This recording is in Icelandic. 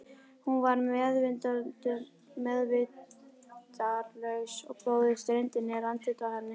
Hún var meðvitundarlaus og blóðið streymdi niður andlitið á henni.